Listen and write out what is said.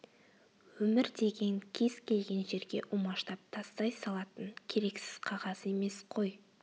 өмір деген кез келген жерге умаждап тастай салатын керексіз қағаз емес қой